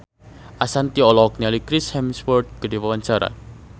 Ashanti olohok ningali Chris Hemsworth keur diwawancara